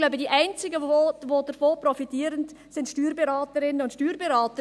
Ich glaube, die einzigen, die davon profitieren, sind die Steuerberaterinnen und Steuerberater.